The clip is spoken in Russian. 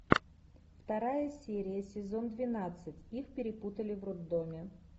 вторая серия сезон двенадцать их перепутали в роддоме